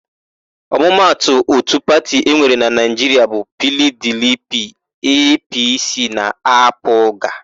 Ọmụmatụ òtù pati enwere na Naịjiria bụ PIiDIiPIi, EePiiSii na AaPụga.